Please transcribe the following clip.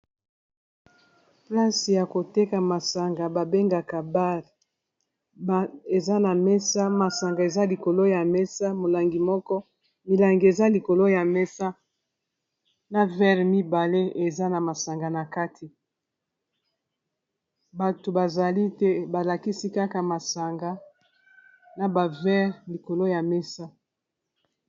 Place ya koteka masanga babengaka bar eza na mesa masanga eza likolo ya mesa molangi moko milangi eza likolo ya mesa na verre mibale eza na masanga na kati bato bazali te balakisi kaka masanga na ba verre likolo ya mesa.